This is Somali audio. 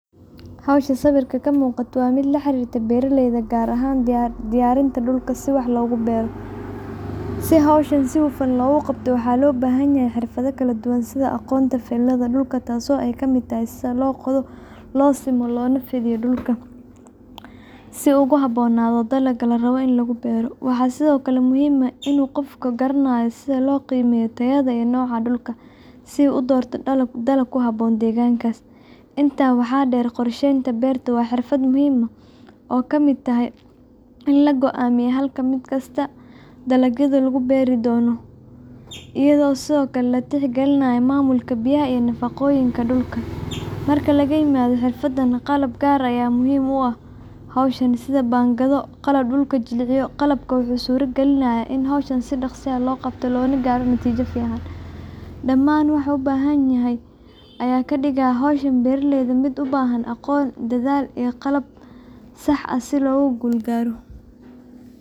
Hawsha sawirka ka muuqata waa mid la xiriirta beeralayda, gaar ahaan diyaarinta dhulka si wax loogu beero. Si hawshan si hufan loo qabto, waxaa loo baahan yahay xirfado kala duwan sida aqoonta falidda dhulka, taas oo ay ka mid tahay sida loo qodo, loo simo loona nadiifiyo dhulka si uu ugu habboonaado dalagga la rabo in lagu beero. Waxaa sidoo kale muhiim ah in qofka garanayo sida loo qiimeeyo tayada iyo nooca dhulka, si uu u doorto dalag ku habboon deegaankaas. Intaa waxaa dheer, qorsheynta beerta waa xirfad muhiim ah, taasoo ay ka mid tahay in la go’aamiyo halka mid kasta oo ka mid ah dalagyada la beeri doono lagu talaalay, iyadoo sidoo kalena la tixgelinayo maamulka biyaha iyo nafaqooyinka dhulka. Marka laga yimaado xirfadaha, qalabyo gaar ah ayaa muhiim u ah hawshan, sida fargeetooyin, baangado, qalab dhulka jilciya, iyo haddii la heli karo, matooro ama traktarro fududeyn kara shaqada. Qalabkan wuxuu suurta galinayaa in hawsha si dhakhso ah oo sahlan loo qabto, loona gaaro natiijo fiican. Dhamaan waxyaabahan oo isku dhafan ayaa ka dhigaya hawsha beeraleyda mid u baahan aqoon, dadaal iyo qalab sax ah si guul looga gaaro.